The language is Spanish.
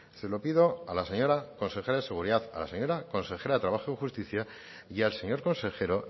se lo pido a la señora consejera de seguridad a la señora consejera de trabajo y justicia y al señor consejero